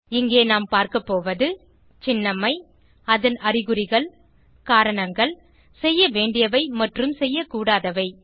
இங்கே நாம் பார்க்கபோவது சின்னம்மை அதன் அறிகுறிகள் காரணங்கள் செய்யவேண்டியவை மற்றும் செய்யக்கூடாதவை